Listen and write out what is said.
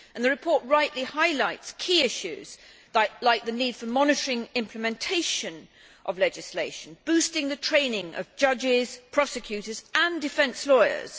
The report rightly highlights key issues like the need for monitoring implementation of legislation boosting the training of judges, prosecutors and defence lawyers